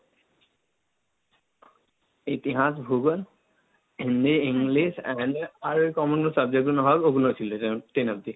ইতিহাস, ভূগোল, হিন্দি, ইংলিশ, আর কমন এর subject গুলো হয় ওগুলো ছিল, যেমন ten অব্দি।